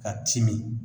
Ka timi